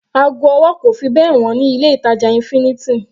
Ago ọwọ́ kò fi bẹ́ẹ̀ wọ́n ní ilé ìtàjà infinity.